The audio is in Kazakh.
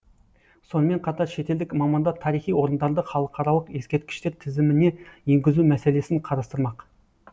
сонымен қатар шетелдік мамандар тарихи орындарды халықаралық ескерткіштер тізіміне енгізу мәселесін қарастырмақ